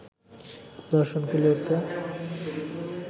দর্শন কুলিয়ে উঠতে